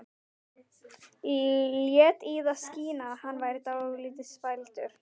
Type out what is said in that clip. Lét í það skína að hann væri dálítið spældur.